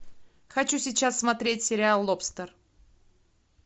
хочу сейчас смотреть сериал лобстер